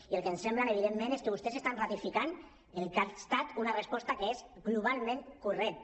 i el que ens sembla evidentment és que vostès estan ratificant el que ha estat una resposta que és globalment correcta